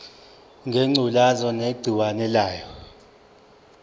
ngengculazi negciwane layo